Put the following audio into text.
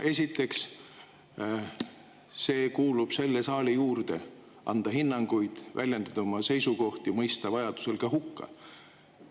Esiteks, see kuulub selle saali juurde: anda hinnanguid, väljendada oma seisukohti, vajaduse korral ka mõista hukka.